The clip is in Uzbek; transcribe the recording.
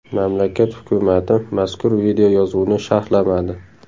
Mamlakat hukumati mazkur videoyozuvni sharhlamadi.